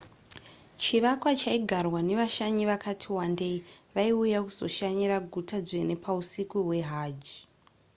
chivakwa chaigarwa nevashanyi vakati wandei vaiuya kuzoshanyira guta dzvene pausiku hwehajj